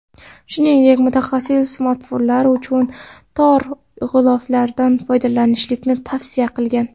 Shuningdek, mutaxassis smartfonlar uchun tor g‘iloflardan foydalanmaslikni tavsiya qilgan.